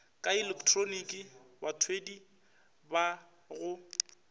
ka ilektroniki bathwadi ba go